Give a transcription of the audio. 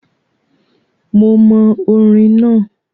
Mo mọ orin náà,